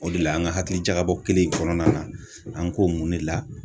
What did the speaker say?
O de la an ka hakilijakabɔ kelen in kɔnɔna na, an k'o mun de la